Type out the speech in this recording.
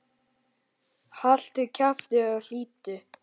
Haltu kjafti og hlýddu!